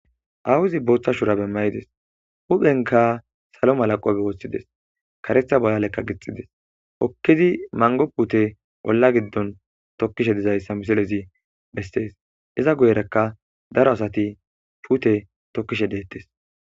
Awuzi booththa shura bemmayides huphenka salo malaqobe woothshides karetha bolalekka gixxides okkidi mango pute bolla giddon tokkishe dizayssa misilezi bessees iza guyerakka daro asati huute tokkishe deettes.